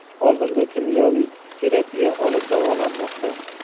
Hozirda kimyoviy terapiya olib davolanmoqda.